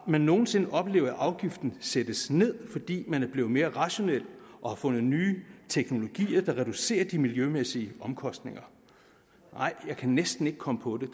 vi nogen sinde oplevet at afgiften sættes ned fordi man er blevet mere rationel og har fundet nye teknologier der reducerer de miljømæssige omkostninger nej jeg kan næsten ikke komme på det